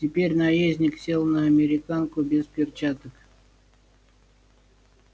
теперь наездник сел на американку без перчаток